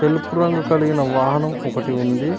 తెలుపు రంగు కలిగిన వాహనం ఒకటి ఉంది.